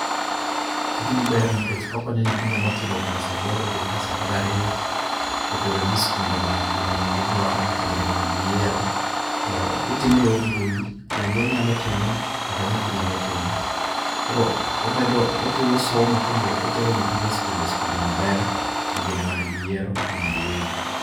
Tijni ber nikech okonyo nyithindo motimo klas aboro gi klas apar gariyo eterogi e sikunde ma gin ema gidwaro kata gin ema ne giyiero. Tomitime eyor mbui. Janyuol nyalo time, kata nyathi nyalo time. Koro omedo ojiwo somo kendomotero nyithindo e sikunde ma gin emane giyiero gin giwegi.